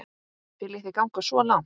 Viljið þið ganga svo langt?